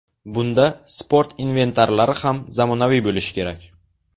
Bunda sport inventarlari ham zamonaviy bo‘lishi kerak.